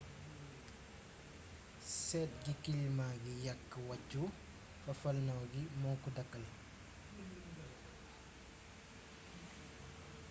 seet gi kilima gi yàkk wàccu fafalnaaw gi moo ko dàkkal